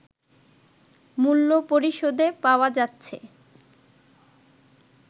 মূল্য পরিশোধে পাওয়া যাচ্ছে